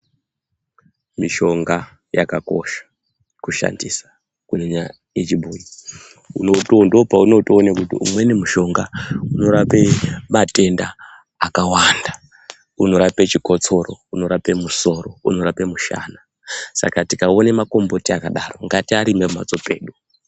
Mishonga yakakosha kushandisa kunyanya yechibhoi. Ndopaunotoone kuti imweni mishonga inorape matenda akawanda. unorape chikotsoro, unorape musoro, unorape mushana. saka tikaone makomboti akadaro ngatiarime pamhatso pedu.